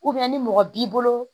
ni mɔgɔ b'i bolo